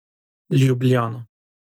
Ljubljana.